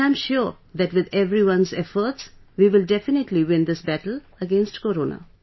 and I am sure that with everyone's efforts, we will definitely win this battle against Corona